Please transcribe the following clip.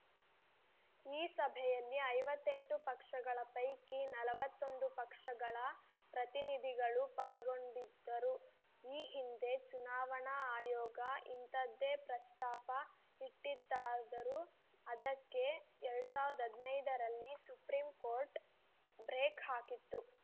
ಈ ಸಭೆಯಲ್ಲಿ ಐವತ್ತೆಂಟು ಪಕ್ಷಗಳ ಪೈಕಿ ನಲವತ್ತೊಂದು ಪಕ್ಷಗಳ ಪ್ರತಿನಿಧಿಗಳು ಪಾಲ್ಗೊಂಡಿದ್ದರು ಈ ಹಿಂದೆ ಚುನಾವಣಾ ಆಯೋಗ ಇಂಥದ್ದೇ ಪ್ರಸ್ತಾಪ ಇಟ್ಟಿತ್ತಾದರೂ ಅದಕ್ಕೆ ಎರಡ್ ಸಾವಿರದ ಹದಿನೈದರಲ್ಲಿ ಸುಪ್ರೀಂಕೋರ್ಟ್‌ ಬ್ರೇಕ್‌ ಹಾಕಿತ್ತು